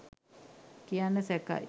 කියන්න සැකයි.